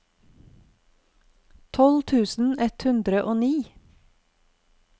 tolv tusen ett hundre og ni